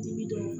Dibi don